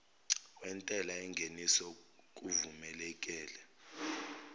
wentela yengeniso kuvumeleke